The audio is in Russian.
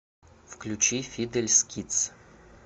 включи фидельс кидс